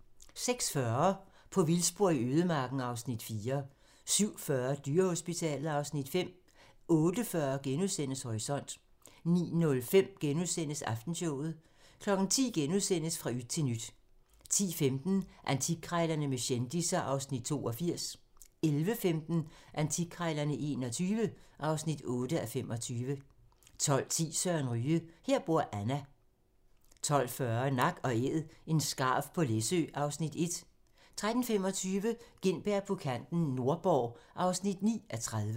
06:40: På vildspor i ødemarken (Afs. 4) 07:40: Dyrehospitalet (Afs. 5) 08:40: Horisont * 09:05: Aftenshowet * 10:00: Fra yt til nyt * 10:15: Antikkrejlerne med kendisser (Afs. 82) 11:15: Antikkrejlerne XXI (8:25) 12:10: Søren Ryge: Her bor Anna 12:40: Nak & æd - en skarv på Læsø (Afs. 1) 13:25: Gintberg på kanten - Nordborg (9:30)